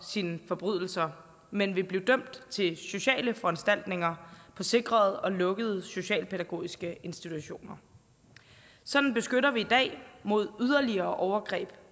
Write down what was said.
sine forbrydelser men vil blive dømt til sociale foranstaltninger på sikrede og lukkede socialpædagogiske institutioner sådan beskytter vi i dag mod yderligere overgreb